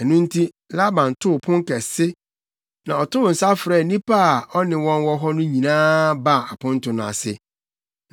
Ɛno nti, Laban too pon kɛse, na ɔtoo nsa frɛɛ nnipa a na ɔne wɔn wɔ hɔ nyinaa baa aponto no ase.